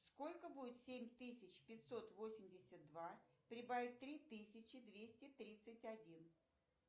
сколько будет семь тысяч пятьсот восемьдесят два прибавить три тысячи двести тридцать один